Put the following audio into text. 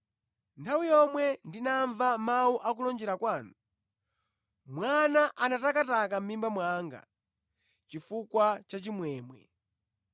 Nthawi yomwe ndinamva mawu akulonjera kwanu, mwana anatakataka mʼmimba mwanga chifukwa cha chimwemwe.